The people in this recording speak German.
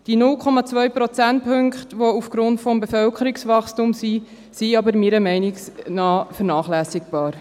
Die 0,2 Prozentpunkte, die aufgrund des Bevölkerungswachstums bestehen, sind aber meiner Meinung nach vernachlässigbar.